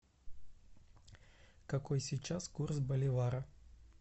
какой сейчас курс боливара